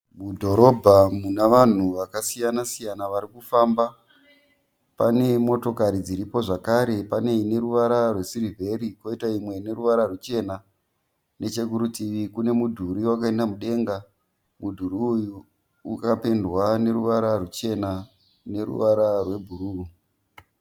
Mudhorobha muna vanhu vakasiya siyana varikufamba. Pane motokari dziripo zvakare. Pane ineruvara rwesirivheri poita imwe ine ruvara ruchena. Nechekuritivi kune mudhuri wakaenda mudenga. Mudhuri uyu wakapendwa neruvara ruchena neruvara rwe bhuruu.